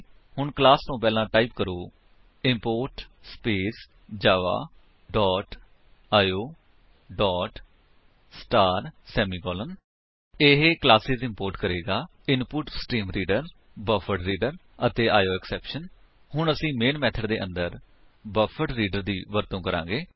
ਹੁਣ ਕਲਾਸ ਤੋ ਪਹਿਲਾਂ ਟਾਈਪ ਕਰੋ import space Java dot IO dot star semicolon ਇਹ ਕਲਾਸੇਸ ਇੰਪੋਰਟ ਕਰੇਗਾ ਇਨਪੁਟਸਟ੍ਰੀਮਰੀਡਰ ਬਫਰਡਰੀਡਰ ਅਤੇ ਆਇਓਐਕਸੈਪਸ਼ਨ ਹੁਣ ਅਸੀ ਮੇਨ ਮੇਥਡ ਦੇ ਅੰਦਰ ਬਫਰਡਰੀਡਰ ਦੀ ਵਰਤੋ ਕਰਾਂਗੇ